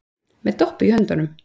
Með Doppu í höndunum.